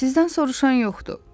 Sizdən soruşan yoxdur.